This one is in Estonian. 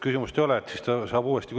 Ta saab uuesti küsimise sisse panna.